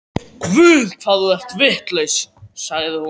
Guð, hvað þú ert vitlaus, sagði hún.